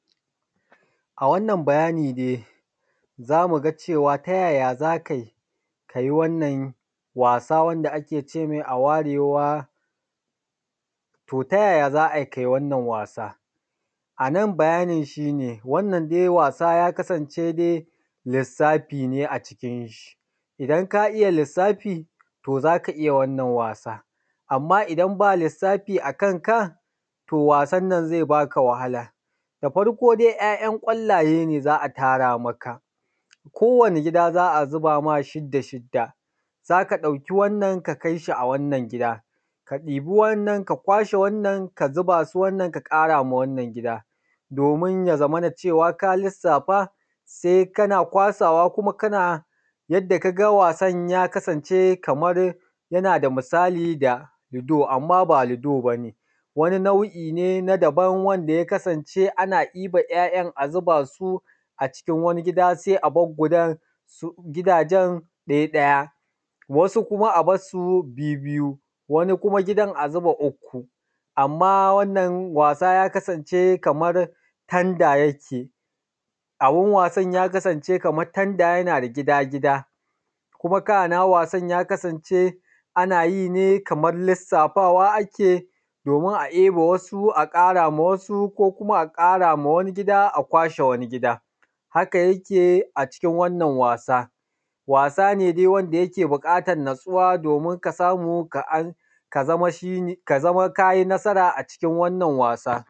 A wannan bayani dai zamu ga cewa ta yaya za kai ka yi wannan wasa wanda ake ce mai a-ware-wa, to yaya za ai kai wannan wasa. A nan bayanin shi ne, wannan dai wasa ya kasance dai lissafi ne acikin shi, idan ka iya lissafi za ka iya wannan wasa, amma idan ba lissafi a kanka wasan nan zai baka wahala. Da farko dai ‘ya’yan ƙwallaye ne za a tara maka, kowane gida za a zuba ma shidda-shidda, za ka ɗauki wannan ka kai shi a wannan gida, ka ɗibi wa’innan ka kwashe wannan ka zuba su wannan ka ƙara ma wannan gida, domin ya zamana cewa ka lissafa, sai kana kwasawa kuma kana, yadda ka ga wasan ya kasance kamar yana da misali da lido amma ba lido bane, wani na’u’i ne na daban wanda ya kasance ana iba ‘ya’yan ana zuba su acikin wani gida sai a bar gudan gidajen ɗaya-ɗaya, wasu kuma a barsu bibbiyu, wani kuma gidan a zuba ukku. Amma wannan wasa ya kasance kamar tanda yake, abun wasan ya kasance kamar tanda yana da gida-gida, kuma kana wasan ya kasance ana yi ne kamar lissafawa ake domin a ebe wasu a ƙara ma wasu ko kuma a ƙara ma wani gida a kwashe wani gida, haka yake acikin wannan wasa. Wasa ne dai wanda yake buƙatar natsuwa domin ka samu ka zama shi, ka zama ka yi nasara acikin wannan wasa.